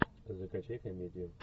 закачай комедию